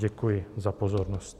Děkuji za pozornost.